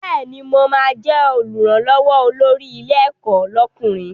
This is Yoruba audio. Bẹ́ẹ̀ni, mo ma jẹ́ Olùrànlọ́wọ́ olórí ilé ẹ̀kọ́ lọ́kùnrin